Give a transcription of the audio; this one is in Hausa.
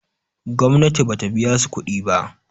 gomnati ba ta biya su kuɗi ba